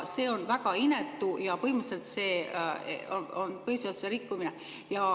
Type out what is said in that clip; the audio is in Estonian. See on väga inetu ja põhimõtteliselt see on põhiseaduse rikkumine.